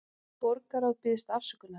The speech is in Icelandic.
Borgarráð biðst afsökunar